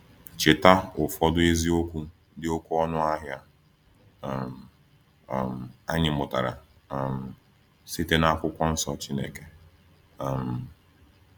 Cheta ụfọdụ eziokwu dị oké ọnụ ahịa um um anyị mụtara um site na Akwụkwọ Nsọ Chineke! um